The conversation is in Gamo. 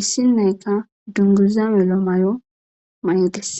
issi nayka dunguza melo may'o maydes.